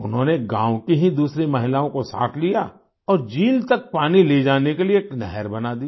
उन्होंने गाँव की ही दूसरी महिलाओं को साथ लिया और झील तक पानी ले जाने के लिये एक नहर बना दी